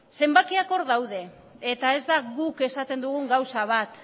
ezta zenbakiak hor daude eta ez da guk esaten dugun gauza bat